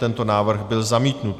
Tento návrh byl zamítnut.